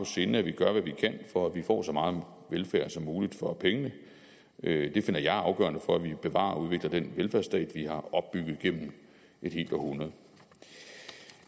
sinde at vi gør hvad vi kan for at vi får så meget velfærd som muligt for pengene det finder jeg afgørende for at vi bevarer og udvikler den velfærdsstat vi har opbygget gennem et helt århundrede